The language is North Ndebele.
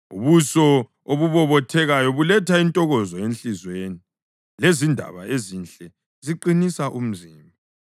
Ubuso obubobothekayo buletha intokozo enhliziyweni, lezindaba ezinhle ziqinisa umzimba.